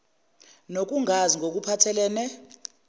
nokungazi ngokuphathel ene